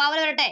power വരട്ടെ